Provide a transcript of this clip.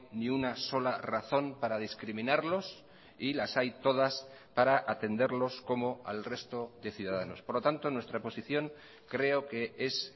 ni una sola razón para discriminarlos y las hay todas para atenderlos como al resto de ciudadanos por lo tanto nuestra posición creo que es